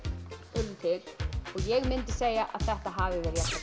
urðu til og ég myndi segja að þetta hafi